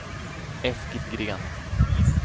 Eskil Green